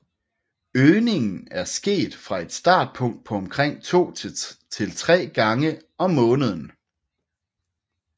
Øgningen er sket fra et startpunkt på omkring to til tre gange om måneden